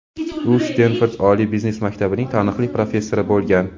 u Stenford oliy biznes maktabining taniqli professori bo‘lgan.